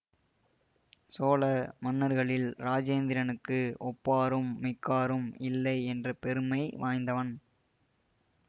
சோழ மன்னர்களில் இராஜேந்திரனுக்கு ஒப்பாரும் மிக்காரும் இல்லை என்ற பெருமை வாய்ந்தவன்